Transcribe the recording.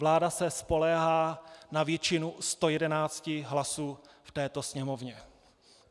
Vláda se spoléhá na většinu 111 hlasů v této sněmovně.